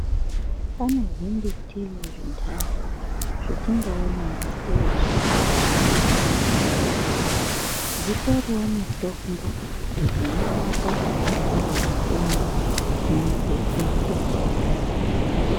Pane zvimiti zvintani zvetingaona ingatei azvina zvezvinodetsera. Dzitoriwo mitombo dzinorapa antani matenda muntu eitopona.